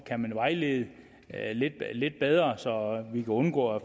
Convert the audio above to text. kan vejlede lidt lidt bedre så vi kan undgå at